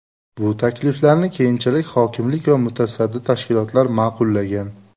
Bu takliflarni keyinchalik hokimlik va mutasaddi tashkilotlar ma’qullagan.